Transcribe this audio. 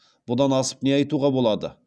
бұдан асып не айтуға болады